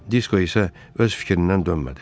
Disko isə öz fikrindən dönmədi.